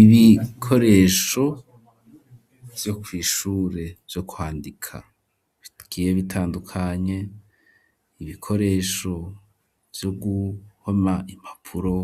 Ibikoresho vyo kw'ishure vyo kwandika, bigiye bitandukanye; ibikoresho vyo guhoma impapuro,